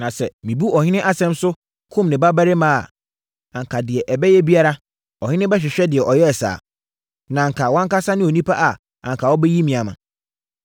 Na sɛ mebu ɔhene asɛm so kum ne babarima a, anka deɛ ɛbɛyɛ biara, ɔhene bɛhwehwɛ deɛ ɔyɛɛ saa. Na anka wʼankasa ne onipa a anka wobɛyi me ama.”